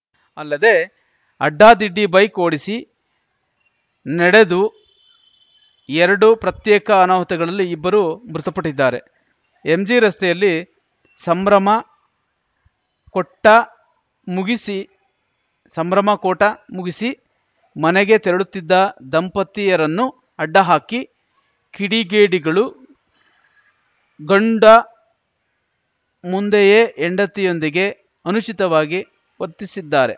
ಅಲ್ಲದೆ ಅಡ್ಡಾದಿಡ್ಡಿ ಬೈಕ್‌ ಓಡಿಸಿ ನೆಡೆದು ಎರಡು ಪ್ರತ್ಯೇಕ ಅನಾಹುತಗಳಲ್ಲಿ ಇಬ್ಬರು ಮೃತಪಟ್ಟಿದ್ದಾರೆ ಎಂಜಿ ರಸ್ತೆಯಲ್ಲಿ ಸಂಭ್ರಮ ಕೊಟ್ಟ ಮುಗಿಸಿ ಸಂಭ್ರಮ ಕೂಟ ಮುಗಿಸಿ ಮನೆಗೆ ತೆರಳುತ್ತಿದ್ದ ದಂಪತಿಯರನ್ನು ಅಡ್ಡ ಹಾಕಿ ಕಿಡಿಗೇಡಿಗಳು ಗಂಡ ಮುಂದೆಯೇ ಹೆಂಡತಿಯೊಂದಿಗೆ ಅನುಚಿತವಾಗಿ ವರ್ತಿಸಿದ್ದಾರೆ